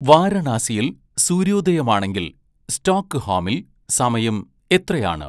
വാരണാസിയിൽ സൂര്യോദയമാണെങ്കിൽ സ്റ്റോക്ക്ഹോമിൽ സമയം എത്രയാണ്